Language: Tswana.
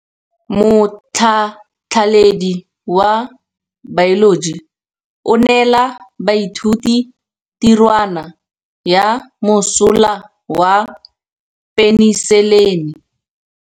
Motlhatlhaledi wa baeloji o neela baithuti tirwana ya mosola wa peniselene.